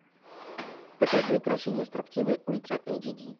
покажи укрощение строптивой ультра эйч ди